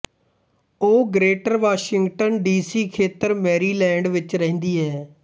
ਉਹ greater Washington D C ਖੇਤਰ Maryland ਵਿੱਚ ਰਹਿੰਦੀ ਹੈ